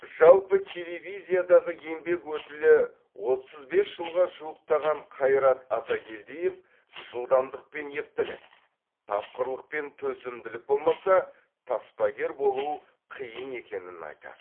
жалпы телевизиядағы еңбек өтілі отыз бес жылға жуықтаған қайрат атакелдиев жылдамдық пен ептілік тапқырлық пен төзімділік болмаса таспагер болу қиын екенін айтады